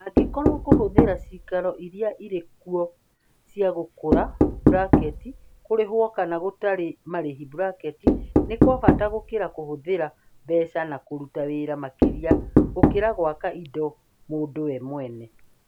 Angĩkorũo kũhũthĩra cĩikaro iria irĩ kuo cia gũkũra (kũrĩhwo kana gũtarĩ marĩhi) nĩ kwa bata gũkĩra kũhũthĩra mbeca na kũruta wĩra makĩria gũkĩra gwaka indo mũndũ we mwene.